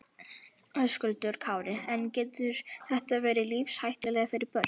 Höskuldur Kári: En getur þetta verið lífshættulegt fyrir börn?